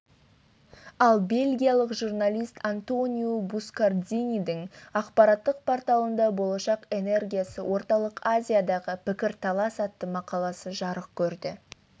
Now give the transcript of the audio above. ал бельгиялық журналист антонио бускардинидің ақпараттық порталында болашақ энергиясы орталық азиядағы пікірталас атты мақаласы жарық көрді